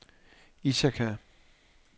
Ithaka